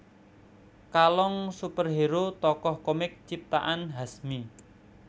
Kalong superhero tokoh komik ciptaan Hasmi